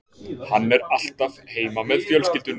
Hann er alltaf heima með fjölskyldunni